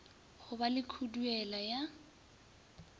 go ba le khuduela ya